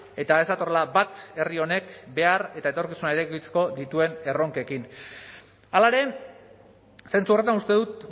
eta ez datorrela bat herri honek behar eta etorkizunarekiko dituen erronkekin hala ere zentzu horretan uste dut